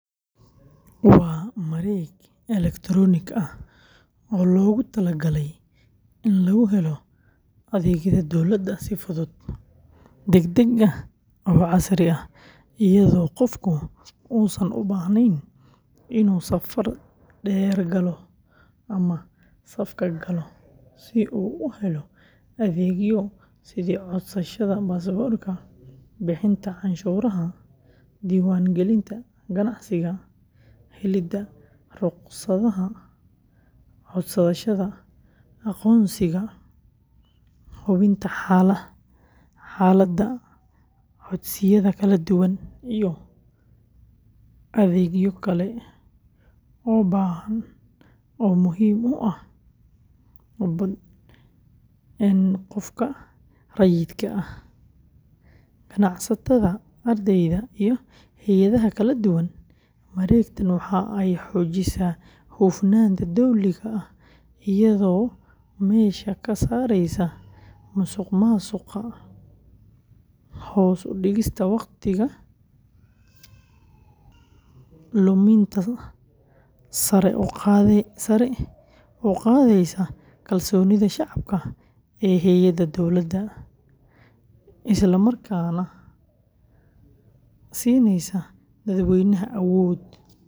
Waa mareeg elektaroonik ah oo loogu talagalay in lagu helo adeegyada dowladda si fudud, degdeg ah, oo casri ah iyadoo qofku uusan u baahnayn inuu safar dheer galo ama safka galo si uu u helo adeegyo sida codsashada baasaboorka, bixinta canshuuraha, diiwaangelinta ganacsiga, helidda ruqsadaha, codsashada aqoonsiga, hubinta xaaladda codsiyada kala duwan, iyo adeegyo kale oo badan oo muhiim u ah qofka rayidka ah, ganacsatada, ardayda, iyo hay’adaha kala duwan; mareegtan waxa ay xoojisaa hufnaanta dowliga ah iyadoo meesha ka saaraysa musuqmaasuqa, hoos u dhigaysa waqti luminta, sare u qaadaysa kalsoonida shacabka ee hay’adaha dowladda, isla markaana siineysa dadweynaha awood.